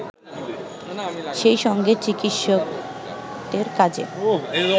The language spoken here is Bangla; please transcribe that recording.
সেইসঙ্গে চিকিৎসকদের কাজে